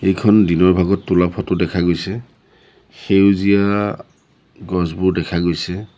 এইখন দিনৰ ভাগত তোলা ফটো দেখা গৈছে সেউজীয়া গছবোৰ দেখা গৈছে।